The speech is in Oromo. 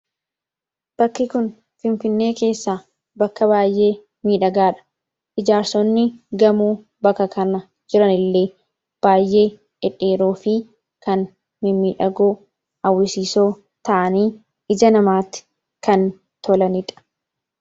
Fakiin Kun Finfinnee keessaa bakka baay'ee miidhagaadha. Ijaarsonni gamoo naannoo kanatti argaman baay'ee mimmidhagoo fi dhedheeroo ta'anii ija namaatti tolanidha.